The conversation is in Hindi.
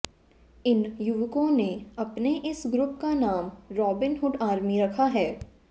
इन युवकों ने अपने इस ग्रुप का नाम रॉबिनहुड आर्मी रखा है